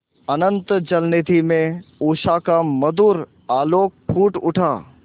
अनंत जलनिधि में उषा का मधुर आलोक फूट उठा